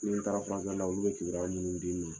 Ni taala furakɛli la , olu bɛ kibaruya minnu d'i ne ma